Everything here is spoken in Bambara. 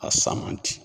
A san man di